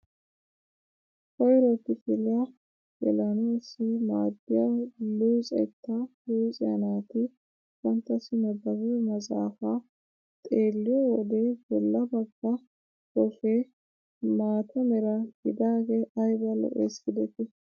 Koyro kifiliyaa gelanaassi maaddiyaa luxettaa luxiyaa naati banttasi nabaabiyoo maxafaa xeelliyoo wode bolla bagga koffee maata mera gidagee ayba lo"ees gidetii.